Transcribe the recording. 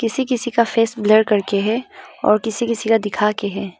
किसी किसी का फेस ब्लर करके है और किसी किसी का दिखाके है।